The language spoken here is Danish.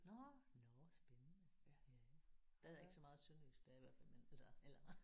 Nåh nåh spændende ja der er ikke så meget sønderjysk der i hvert fald men altså eller